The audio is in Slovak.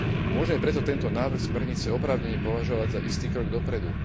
Môžeme preto tento návrh smernice oprávnene považovať za istý krok dopredu.